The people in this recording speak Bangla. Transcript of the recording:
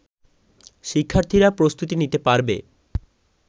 শিক্ষার্থীরা প্রস্তুতি নিতে পারবে